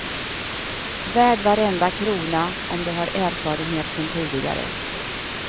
Värd varenda krona om du har erfarenhet sedan tidigare.